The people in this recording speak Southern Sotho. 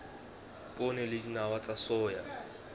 poone le dinawa tsa soya